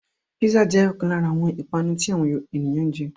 Písà jẹ́ ọ̀kan lára àwọn ìpanu tí àwọn ènìyàn jẹ